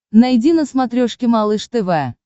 найди на смотрешке малыш тв